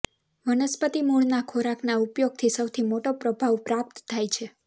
વનસ્પતિ મૂળના ખોરાકના ઉપયોગથી સૌથી મોટો પ્રભાવ પ્રાપ્ત થાય છે